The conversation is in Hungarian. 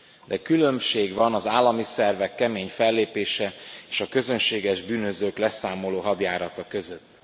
De különbség van az állami szervek kemény fellépése és a közönséges bűnözők leszámoló hadjárata között.